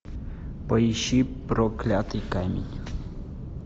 поищи проклятый камень